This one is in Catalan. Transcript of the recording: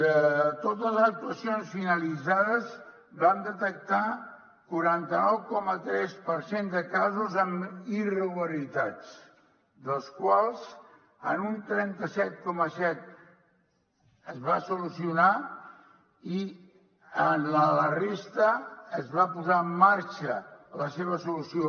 de totes les actuacions finalitzades vam detectar quaranta nou coma tres per cent de casos amb irregularitats dels quals en un trenta set coma set es van solucionar i en la resta es va posar en marxa la seva solució